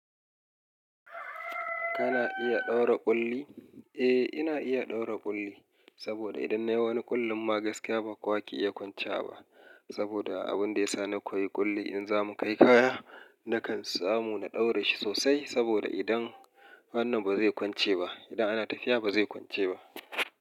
Kana iya ɗaura ƙulli? Eh, ina iya ɗaura ƙulli, saboda idan nayi wani ƙullun ma gaskiya ba kowa ke iya kwancewa ba. Saboda abun da ya sa na koyi ƙulli in zamu kai kaya, nakan samu na ɗaura shi sosai. Saboda idan hannun ba zai kwance ba, idan ana tafiya ba zai kwance ba.